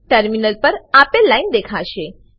terminal પર આપેલ line દેખાશે